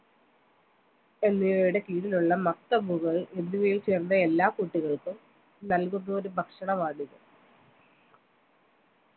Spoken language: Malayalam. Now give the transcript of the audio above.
എന്നിവയുടെ കീഴിലുള്ള മക്തമുകൾ എന്നിവയിൽ ചേർന്ന എല്ലാ കുട്ടികൾക്കും നല്കുന്നയൊരു ഭക്ഷണമാണിത്